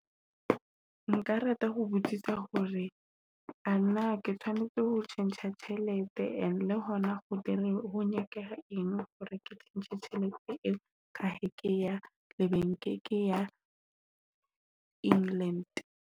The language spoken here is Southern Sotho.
Nka rata ho botsisa hore a na ke tshwanetse ho tjhentjha tjhelete and le hona ho dira ho nyakeha eng hore ke tjhentjhe tjhelete eo. Ka be ke ya le bank ke ya England.